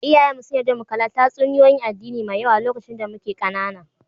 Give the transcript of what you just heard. Iyaye mu su'n yarda mu kalla tatsuniyoyi 'n addini Mai yawa lokacin da mike kanana.